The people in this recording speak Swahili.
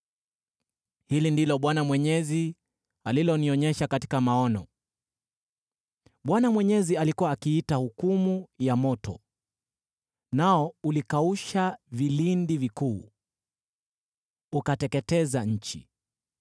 Hili ndilo Bwana Mwenyezi alilonionyesha katika maono: Bwana Mwenyezi alikuwa akiita hukumu ya moto; nao ulikausha vilindi vikuu, ukateketeza nchi.